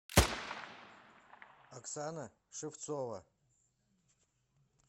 оксана шевцова